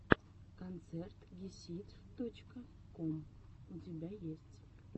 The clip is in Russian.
концерт гесид точка ком у тебя есть